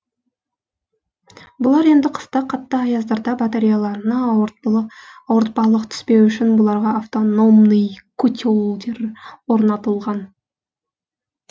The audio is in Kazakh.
бұлар енді қыста қатты аяздарда батареяларына ауыртпалық түспеу үшін бұларға автономный котелдер орнатылған